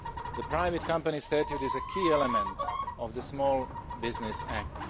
The Private Company Statute is a key element of the Small Business